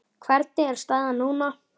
Hvernig er staðan núna?